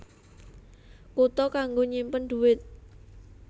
Kutha kanggo nyimpen dhuwit